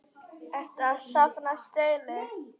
Ertu að safna stelli?